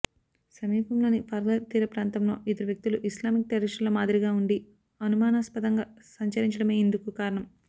సమీపంలోని పాల్ఘర్ తీర ప్రాంతంలో ఇద్దరు వ్యక్తులు ఇస్లామిక్ టెర్రరిస్టుల మాదిరిగా ఉండి అనుమానాస్పదంగా సంచరించడమే ఇందుకు కారణం